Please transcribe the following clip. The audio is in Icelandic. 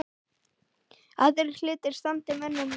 Aðrir hlutir standi mönnum nær.